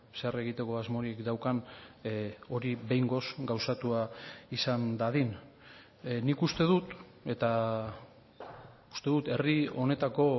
zer egiteko asmorik daukan hori behingoz gauzatua izan dadin nik uste dut eta uste dut herri honetako